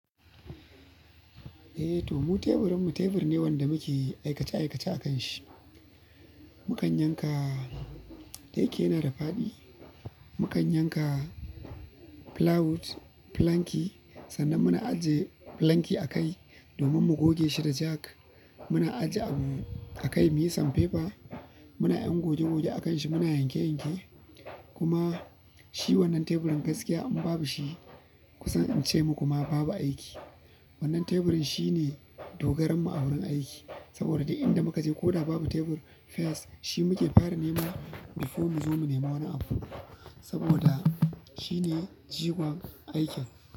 Eh, to mu teburin mu tebur ne wanda muke aikace aikace a kan shi. Mukan yanka, dayaje yana da faɗi. Mukan yanka plywood, planki, sannan muna ajiye planki a kai domin mu goge shi da jack. Muna ajiye abu a kai mu yi sandpaper, muna yin goge goge a kan shi, muna yanke yanke. Kuma shi wannan teburin gaskiya in babu shi kusan in ce muku ma babu aiki. Wannan teburin shine dogaran mu a wurin aiki. Saboda inda muka je ko da babu tebur first shi muke fara nema before mu zo mu nema wani abu. Saboda shi ne jigon aikin.